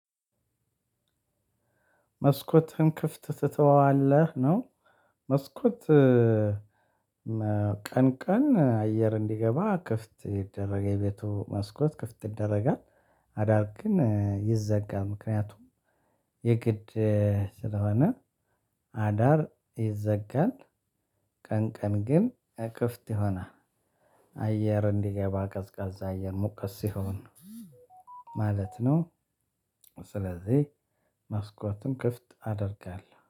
መስኮትህን ክፍት ትተዋለህ ነው? መስኮት ቀን ቀን አየር እንዲገባ ክፍት የደረገ የቤቱ መስኮት ክፍት ይደረጋል። አዳር ግን ይዘጋል ምክንያቱም የግድ ስለሆነ አዳር ይዘጋል። ቀን ቀን ግን ክፍት ይሆናል። አየር እንዲገባ ቀዝቃዛ አየር ሙቀት ሲሆን ማለት ነው። ስለዚህ መስኮትን ክፍት አደርጋለሁ